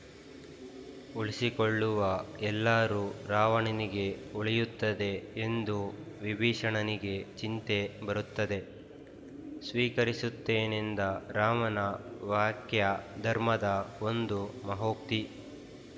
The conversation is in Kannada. ಉಳಿಸಿಕೊಳ್ಳುವ ಎಲ್ಲಾರೂ ರಾವಣನಿಗೆ ಉಳಿಯುತ್ತದೆ ಎಂದು ವಿಭೀಷಣನಿಗೆ ಚಿಂತೆ ಬರುತ್ತದೆ ಸ್ವೀಕರಿಸುತ್ತೇನೆಂದ ರಾಮನ ವಾಕ್ಯ ಧರ್ಮದ ಒಂದು ಮಹೋಕ್ತಿ